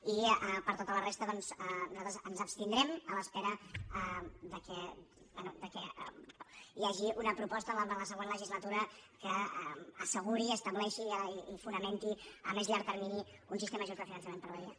i per tota la resta doncs nosaltres ens hi abstindrem a l’espera que bé hi hagi una proposta en la següent legislatura que asseguri estableixi i fonamenti a més llarg termini un sistema just de finançament per a badia